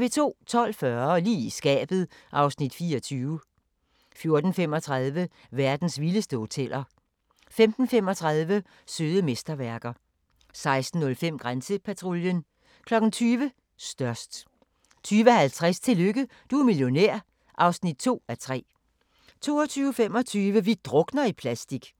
12:40: Lige i skabet (Afs. 24) 14:35: Verdens vildeste hoteller 15:35: Søde mesterværker 16:05: Grænsepatruljen 20:00: Størst 20:50: Tillykke, du er millionær (2:3) 22:25: Vi drukner i plastik